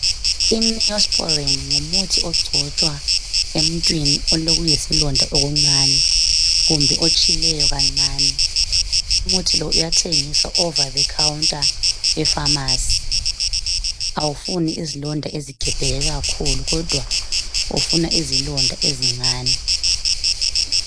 INeosporin ngumuthi ogcotshwa emuntwini olokuyisilonda okuncane kumbe otshileyo kancane. Umuthi lo uyathengiswa over the counter epharmacy .Awufuni izilonda ezigebheke kakhulu kodwa ufuna izilonda ezincane.